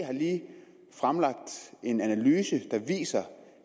har lige fremlagt en analyse der viser